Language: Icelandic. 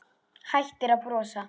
Hættir að brosa.